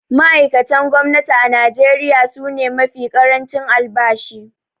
Ma’aikatan gwamnati a Najeriya su ne mafi ƙarancin albashi.